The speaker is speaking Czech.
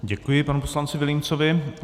Děkuji panu poslanci Vilímcovi.